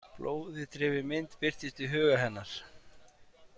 Blóði drifin mynd birtist í huga hennar.